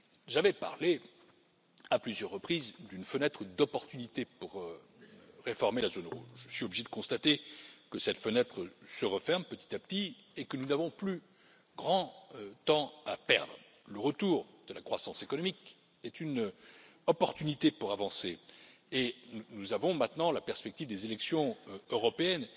J'avais parlé à plusieurs reprises d'une fenêtre d'opportunité pour réformer la zone rouge, je suis obligé de constater que cette fenêtre se referme petit à petit et que nous n'avons plus de temps à perdre. Le retour de la croissance économique est une opportunité pour avancer et nous avons maintenant la perspective des élections européennes.